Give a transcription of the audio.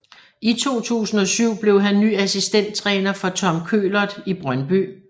I 2007 blev han ny assistenttræner for Tom Køhlert i Brøndby